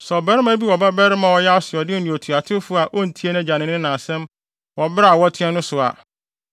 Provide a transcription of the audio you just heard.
Sɛ ɔbarima bi wɔ ɔbabarima a ɔyɛ asoɔden ne otuatewfo a ontie nʼagya ne ne na asɛm wɔ bere a wɔteɛ no so a,